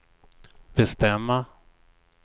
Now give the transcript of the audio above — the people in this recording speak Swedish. bestämma